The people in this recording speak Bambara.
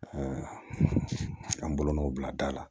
an bolonɔ bila da la